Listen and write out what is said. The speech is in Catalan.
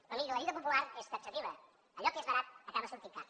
però miri la dita popular és taxativa allò que és barat acaba sortint car